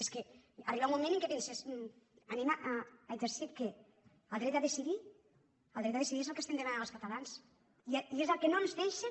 és que arriba un moment que penses anem a exercir què el dret a decidir el dret a decidir és el que estem demanant els catalans i és el que no ens deixen